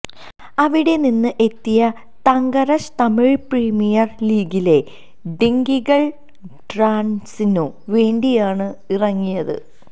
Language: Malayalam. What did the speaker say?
അവിടെ നിന്ന് എത്തിയ തങ്കരശ് തമിഴ്നാട് പ്രീമിയര് ലീഗിലെ ഡിണ്ടിഗല് ഡ്രാഗണ്സിനു വേണ്ടിയാണ് ഇറങ്ങിയത്